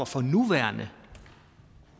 for nuværende